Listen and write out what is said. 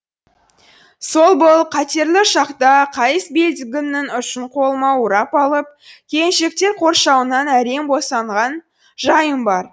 сол бол қатерлі шақта қайыс белдігімнің ұшын қолыма орап алып келіншектер қоршауынан әрең босанған жайым бар